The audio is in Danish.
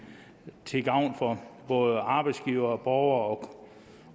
til gavn for både arbejdsgivere borgere